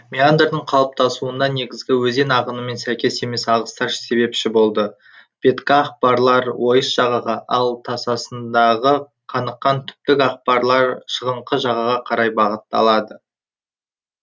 меандрдың қалыптасуына негізгі өзен ағынымен сәйкес емес ағыстар себепші болады беткі ақпалар ойыс жағаға ал тасасындыға қаныққан түптік акпалар шығыңқы жағаға карай бағытталады